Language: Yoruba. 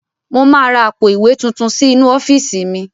Mo máa ra àpò ìwé tuntun sí inú ọ́fíìsì mi.